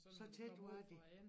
Så tæt var de